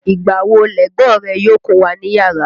Ìgbà wo lẹ̀gbọ́n rẹ yóò kúnwà níyàrá?